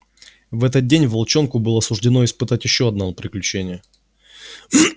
в этот день волчонку было суждено испытать ещё одно приключение